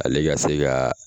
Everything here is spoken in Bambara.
Ale ga se gaa